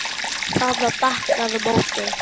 Það var bankað á móti.